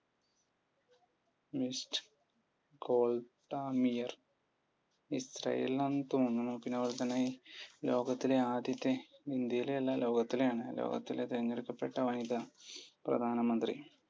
mis കോൾഡാമിയർ ഇസ്രായേലിൽ നിന്നാണെന്നു തോന്നുണു പിന്നെ അതുപോലെത്തന്നെ ലോകത്തിലെ ആദ്യത്തെ ഇന്ത്യയിലെ അല്ല ലോകത്തിലെ ആണ് ലോകത്തിലെ തിരഞ്ഞെടുക്കപ്പെട്ട വനിത പ്രധാനമന്ത്രി